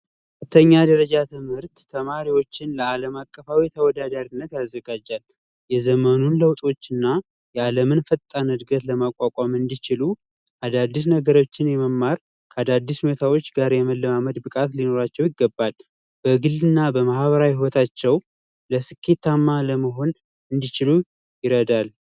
ከፍተኛ ደረጃ ትምህርት ተማሪዎችን ለአለማቀፋዊ ተወዳዳሪነት አዘጋጃ የዘመኑን ለውጦችና የዓለምን ፈጣን እድገት ለማቋቋም እንዲችሉ አዳዲስ ነገሮችን የመማር አዳዲስ ሁኔታዎች ጋር የመለማመድ ብቃት ሊኖራቸው ይገባል ።በግልና በማህበራዊ ህይወታቸው ስኬታማ እንዲችሉም ይረዳ።